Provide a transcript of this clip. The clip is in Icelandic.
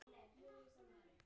Á þeim tíma var Skúla